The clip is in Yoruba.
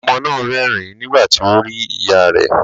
Ọmọ náà rẹ́rìn nígbà tí ó rí ìyá ẹ̀.